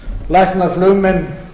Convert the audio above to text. læknar flugmenn